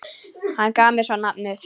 Hann gaf mér svo safnið.